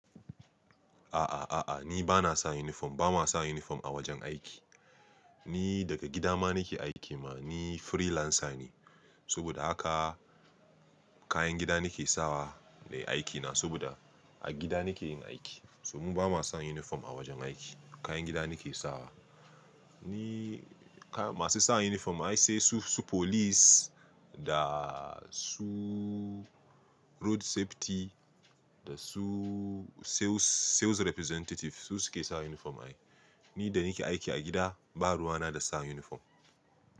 A'a, a'a, ni ba na sa uniform, ba ma sa uniform a wajen aiki. Ni daga gida ma nake aiki ma, ni freelancer ne. Saboda haka kayan gida nake sawa ne aikina saboda a gida nake yin aiki. So mu ba ma sa uniform a wajen aiki, kayan gida nake sawa. Ni masu sa uniform ai sai su, su police da su road safety da su sales, sales representative su suke sa uniform ai. Ni da nake aiki a gida, ba ruwa na da sa uniform.